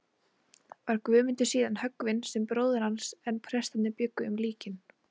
Var Guðmundur síðan höggvinn sem bróðir hans, en prestarnir bjuggu um líkin.